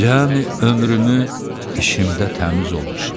Cəmi ömrümü işimdə təmiz olmuşam.